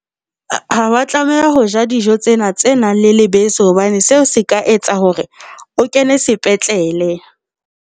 Ha wa tlameha ho ja dijo tsena tse nang le lebese hobane seo se ka etsa hore o kene sepetlele.